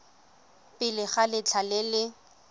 pele ga letlha le le